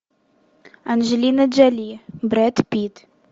анджелина джоли брэд питт